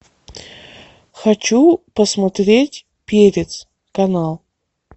хочу посмотреть перец канал